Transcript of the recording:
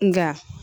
Nga